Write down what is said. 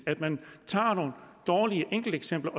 at man tager nogle dårlige enkelteksempler